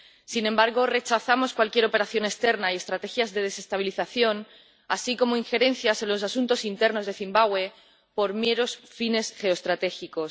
Sin embargo, rechazamos cualquier operación externa y las estrategias de desestabilización, así como las injerencias en los asuntos internos de Zimbabue por meros fines geoestratégicos.